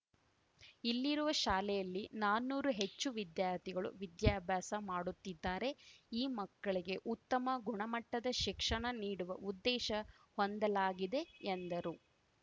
ಇಲ್ಲಿರುವ ಶಾಲೆಯಲ್ಲಿ ನಾನೂರು ಹೆಚ್ಚು ವಿದ್ಯಾರ್ಥಿಗಳು ವಿದ್ಯಾಭ್ಯಾಸ ಮಾಡುತ್ತಿದ್ದಾರೆ ಈ ಮಕ್ಕಳಿಗೆ ಉತ್ತಮ ಗುಣಮಟ್ಟದ ಶಿಕ್ಷಣ ನೀಡುವ ಉದ್ದೇಶ ಹೊಂದಲಾಗಿದೆ ಎಂದರು